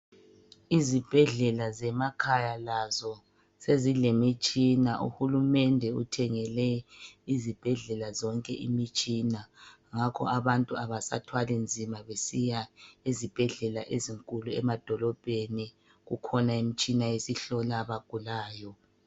Izibhedlela zemakhaya lazo sezilemitshina. Uhulumende uthengele izibhedlela zonke imitshina. Ngakho abantu abasathwalinzima besiya ezibhedlela ezinkulu emadolobheni. Kukhona imitshina esihlola abagulayo.